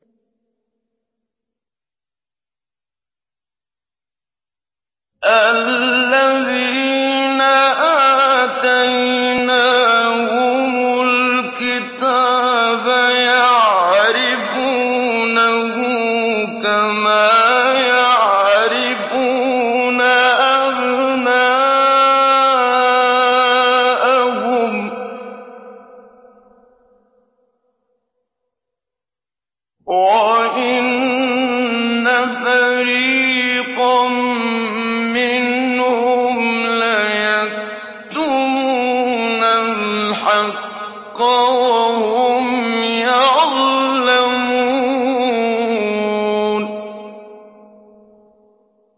الَّذِينَ آتَيْنَاهُمُ الْكِتَابَ يَعْرِفُونَهُ كَمَا يَعْرِفُونَ أَبْنَاءَهُمْ ۖ وَإِنَّ فَرِيقًا مِّنْهُمْ لَيَكْتُمُونَ الْحَقَّ وَهُمْ يَعْلَمُونَ